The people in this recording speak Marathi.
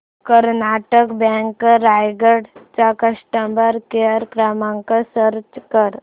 कर्नाटक बँक रायगड चा कस्टमर केअर क्रमांक सर्च कर